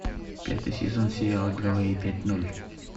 пятый сезон сериала гавайи пять ноль